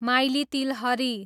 माइली तिलहरी